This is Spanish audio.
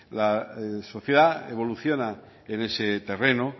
la sociedad evoluciona en ese terreno